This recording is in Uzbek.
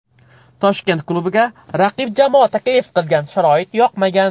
Toshkent klubiga raqib jamoa taklif qilgan sharoit yoqmagan.